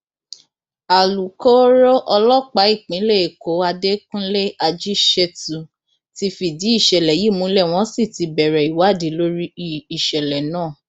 alūkkóró ọlọpàá ìpínlẹ èkó àdẹkùnlé ajíṣẹtù ti fìdí ìṣẹlẹ yìí múlẹ wọn sì ti bẹrẹ ìwádìí lórí ìṣẹlẹ náà